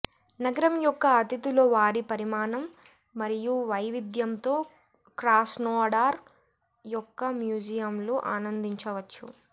నగరం యొక్క అతిథులు వారి పరిమాణం మరియు వైవిధ్యంతో క్రాస్నోడార్ యొక్క మ్యూజియంలు ఆనందించవచ్చు